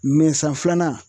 san filanan.